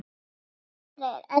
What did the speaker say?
Dóttir þeirra er Edda Sif.